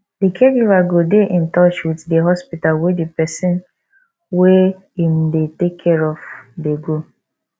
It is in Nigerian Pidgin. di caregiver go dey in touch with di hospital wey di person wey im dey take care of dey go